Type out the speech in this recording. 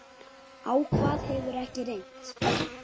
Á hvað hefur ekki reynt?